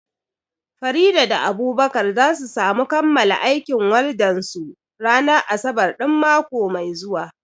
Farida da Abubakar za su samu kammala aikin waldan su ranar asabar ɗin mako mai zuwa